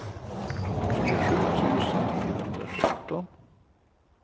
tjugosju tusen niohundrasjutton